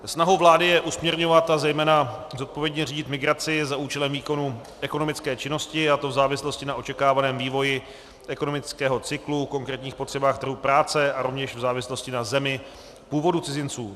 Snahou vlády je usměrňovat a zejména zodpovědně řídit migraci za účelem výkonu ekonomické činnosti, a to v závislosti na očekávaném vývoji ekonomického cyklu, konkrétních potřebách trhu práce a rovněž v závislosti na zemi původu cizinců.